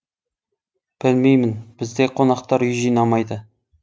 білмеймін бізде қонақтар үй жинамайды